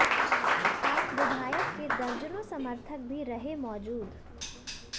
आप विधायक के दर्जनों समर्थक भी रहे मौजूद